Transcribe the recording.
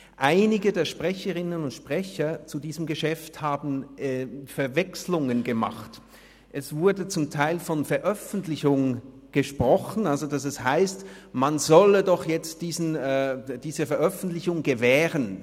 Einige der Sprecherinnen und Sprecher zu diesem Geschäft haben Verwechslungen gemacht, es wurde zum Teil von Veröffentlichung gesprochen, das heisst, man solle doch jetzt diese Veröffentlichung gewähren.